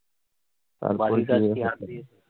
বাড়ির কাজ কি আজকে?